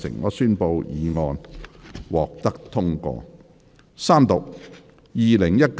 我宣布議案獲得通過。